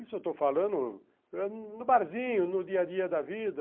Isso eu estou falando no barzinho, no dia a dia da vida.